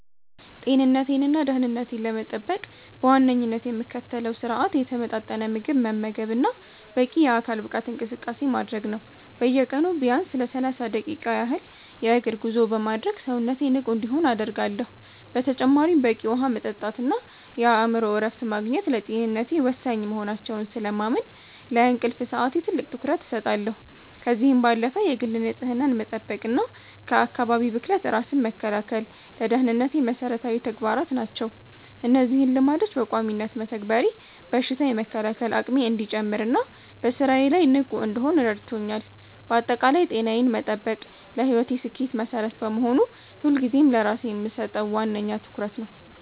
ጤንነቴንና ደህንነቴን ለመጠበቅ በዋነኝነት የምከተለው ስርአት የተመጣጠነ ምግብ መመገብና በቂ የአካል ብቃት እንቅስቃሴ ማድረግ ነው። በየቀኑ ቢያንስ ለሰላሳ ደቂቃ ያህል የእግር ጉዞ በማድረግ ሰውነቴ ንቁ እንዲሆን አደርጋለሁ። በተጨማሪም በቂ ውሃ መጠጣትና የአእምሮ እረፍት ማግኘት ለጤንነቴ ወሳኝ መሆናቸውን ስለማምን፣ ለእንቅልፍ ሰዓቴ ትልቅ ትኩረት እሰጣለሁ። ከዚህም ባለፈ የግል ንጽህናን መጠበቅና ከአካባቢ ብክለት ራስን መከላከል ለደህንነቴ መሰረታዊ ተግባራት ናቸው። እነዚህን ልማዶች በቋሚነት መተግበሬ በሽታ የመከላከል አቅሜ እንዲጨምርና በስራዬ ላይ ንቁ እንድሆን ረድቶኛል። ባጠቃላይ ጤናዬን መጠበቅ ለህይወቴ ስኬት መሰረት በመሆኑ፣ ሁልጊዜም ለራሴ የምሰጠው ዋነኛ ትኩረት ነው።